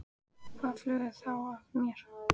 Og hvað flögrar þá að mér?